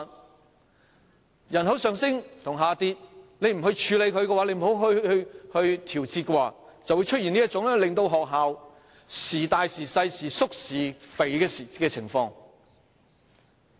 面對人口上升或下跌，若不處理或調節，便會出現這種學校班數時大時小、時縮時肥的情況。